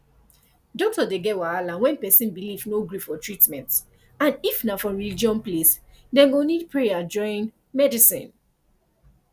doctor dey get wahala when person belief no gree for treatment and if na for religion place dem go need prayer join medicine